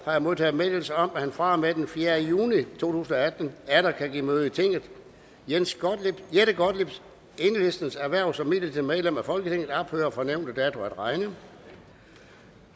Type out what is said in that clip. har jeg modtaget meddelelse om at han fra og med den fjerde juni to tusind og atten atter kan give møde i tinget jette gottliebs hverv som midlertidigt medlem af folketinget ophører fra nævnte dato at regne